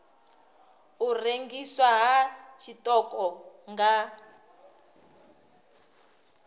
u rengiswa ha tshiṱoko nga